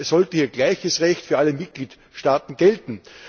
Das heißt, es sollte hier gleiches Recht für alle Mitgliedstaaten gelten.